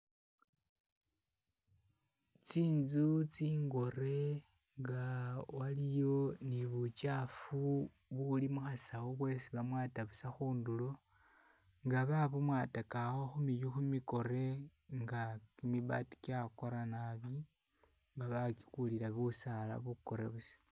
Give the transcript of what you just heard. tsinzu tsingore nga waliyo ni bukyafu buli muhasawu bwesibamwata busa mundulo, nga babumwataka awo humiyu kimikore nga kimibaati kyakora nabi nga bakikulira busaala bukore busa